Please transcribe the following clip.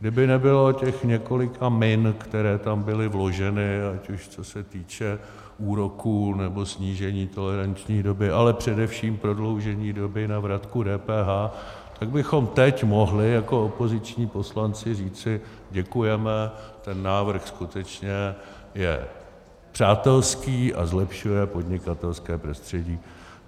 Kdyby nebylo těch několika min, které tam byly vloženy, ať už co se týče úroků nebo snížení toleranční doby, ale především prodloužení doby na vratku DPH, tak bychom teď mohli jako opoziční poslanci říci: děkujeme, ten návrh skutečně je přátelský a zlepšuje podnikatelské prostředí.